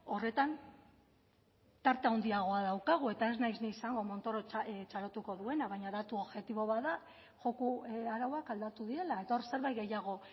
horretan tarte handiagoa daukagu eta ez naiz ni izango montoro txalotuko duena baina datu objektibo bat da joko arauak aldatu direla eta hor zerbait gehiago